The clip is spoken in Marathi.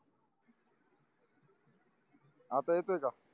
आता येतोय का